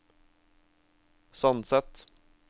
Sandset